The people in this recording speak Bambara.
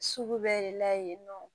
Sugu bɛɛ de la yen nɔ